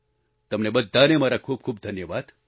તમને બધાને મારા ખૂબખૂબ ધન્યવાદ